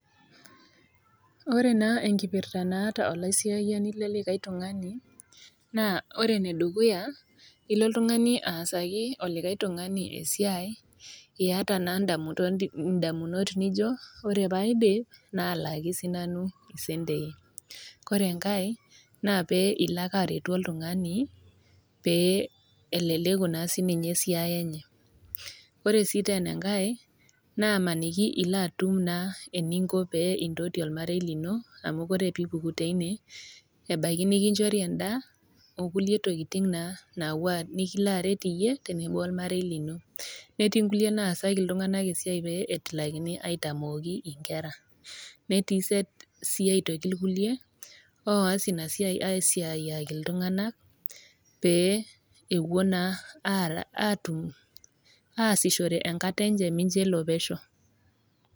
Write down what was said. Ore naa enkipirrta naata olaisiyiani lelikae tung'ani naa ore enedukuya ilo oltung'ani aasaki olikae tung'ani esiai iata naa indamunot nijio ore paidip nalaki sinanu isentei kore enkae naa pee ilo ake aretu oltung'ani pee eleleku naa sininye esiai enye ore sii tenenkae namaniki ilo atum naa eninko naa pee intoti olmarei lino amu kore piipuku teine ebaiki nikinchori endaa okulie tokiting naa napuo nikilo aret iyie tenebo ormarei lino netii inkulie naasaki iltung'anak esiai pee etilakini aitamooki inkera netii iset sii aitoki irkulie oas ina siai aisiayiaki iltung'anak pee ewuo naa atum asishore enkata enche mincho elo pesho.